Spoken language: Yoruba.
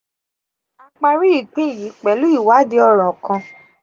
a paari ipin yi pelu iwaadi oran kan